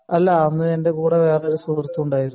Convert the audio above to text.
അല്ല അന്ന് എന്റെ കൂടെ വേറൊരു സുഹൃത്തും ഉണ്ടായിരുന്നു